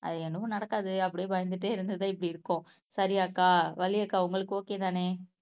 அது என்னமோ நடக்காது அப்படியே பயந்துட்டே இருந்துதா இப்படி இருக்கும் சரி அக்கா வள்ளி அக்கா உங்களுக்கு ஒகேதானே